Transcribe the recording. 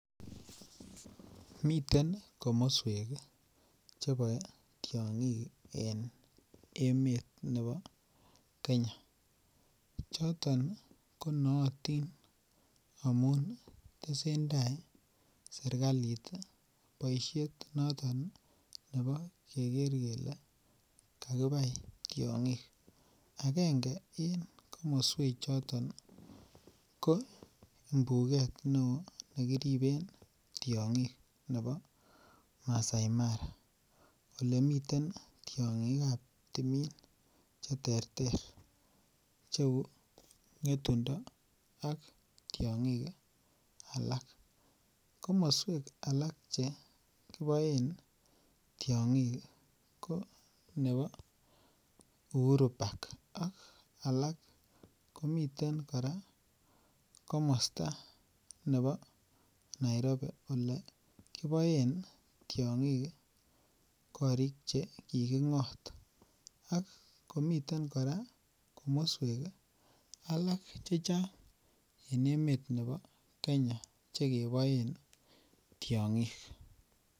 Miten komoswek Che boe tiongik en emet nebo Kenya choton ko nootin amun tesentai serkalit boisiet noton nebo keger Miten komoswek Che boe tiongik en emet nebo Kenya choton ko nootin amun tesentai serkalit boisiet noton nebo keger kele kakibai tiongik agenge komoswechoto ko mbuget neo ne kiriben tiongik nebo maasai mara Ole miten tiongik ab timin Che terter Cheu ngetundo ak tiongik alak komoswek alak Che kiboen tiongik ko nebo Uhuru park ak alak komiten komosta nebo Nairobi Ole kiboen tiongik korik Che kikingot ak komiten kora komoswek alak chechang en emet nebo Kenya Che keboen tiongik kakibai tiongik agenge komoswechoto ko mbuget neo ne kiriben tiongik nebo maasai mara Ole miten tiongik ab timin Che terter Cheu ngetundo ak tiongik alak komoswek alak Che kiboen tiongik ko nebo Uhuru park ak alak komiten komosta nebo Nairobi Ole kiboen tiongik korik Che kikingot ak komiten kora komoswek alak chechang en emet nebo Kenya Che keboen tiongik